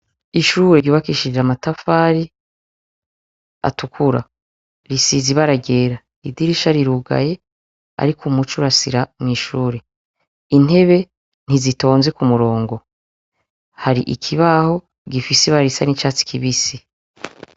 Ishure ryubakishije amatafari atukura risize ibara ryera, idirisha rirugaye ariko umuco urasira mw'ishure, intebe ntizitonze k'umurongo, hari ikibaho gifise ibara risa n'icatsi kibisi.